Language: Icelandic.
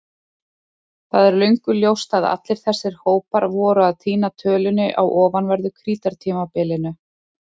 Það er löngu ljóst að allir þessir hópar voru að týna tölunni á ofanverðu Krítartímabilinu.